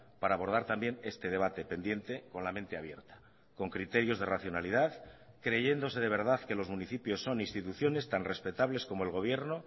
para abordar también este debate pendiente con la mente abierta con criterios de racionalidad creyéndose de verdad que los municipios son instituciones tan respetables como el gobierno